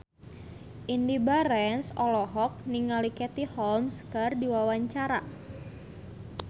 Indy Barens olohok ningali Katie Holmes keur diwawancara